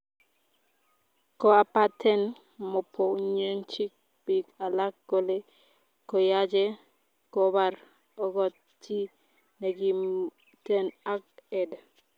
koapaten mopoyenchi pik alak kole koyache kopar ogot chi negimten ag ed.